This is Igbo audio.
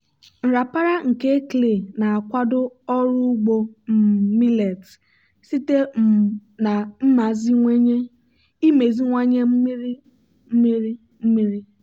nrapara nke clay na-akwado ọrụ ugbo um millet site um na imeziwanye mmiri mmiri mmiri.